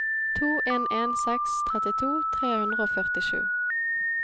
to en en seks trettito tre hundre og førtisju